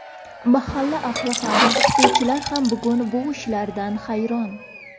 Mahalla ahli ham, o‘qituvchilar ham bugun bu ishlardan hayron.